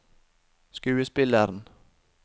skuespilleren